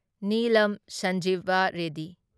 Neelam Sanjiva ready